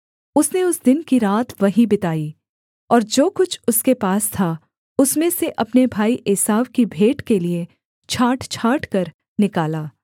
उसने उस दिन की रात वहीं बिताई और जो कुछ उसके पास था उसमें से अपने भाई एसाव की भेंट के लिये छाँट छाँटकर निकाला